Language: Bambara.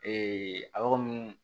a yɔrɔ minnu